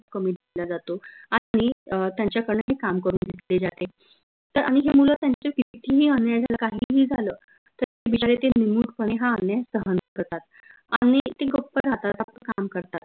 खूप कमी दिला जातो आनि अह त्यांच्याकडन ही काम करून घेतले जाते त आनि हे मुलं त्यांच्यावर कितीही अन्याय झाला काहीही झालं तरी बिचारे ते निमूट पने हा अन्याय शान करतात आनि ते गप्प राहतात आपलं काम करतात